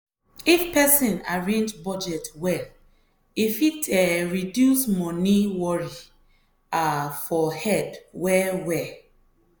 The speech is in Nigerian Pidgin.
if person arrange budget well e fit um reduce money worry um for head well well.